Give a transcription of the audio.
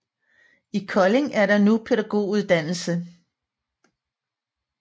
I Kolding er der nu pædagoguddannelse